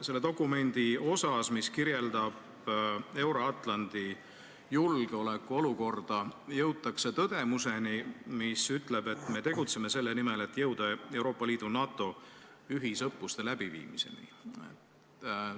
Selles dokumendis, mis kirjeldab Euro-Atlandi julgeoleku olukorda, jõutakse tõdemuseni, et me tegutseme selle nimel, et jõuda Euroopa Liidu ja NATO ühisõppuste läbiviimiseni.